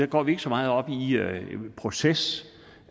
går vi ikke så meget op i proces